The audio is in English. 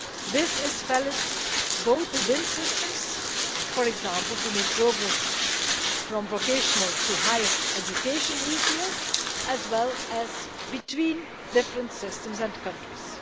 This is valid both within systems, for example to make progress from vocational to higher education easier, as well as between different systems and countries.